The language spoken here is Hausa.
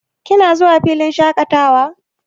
Kina zuwa filin shaƙatawa?